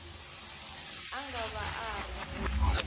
a nga va a ri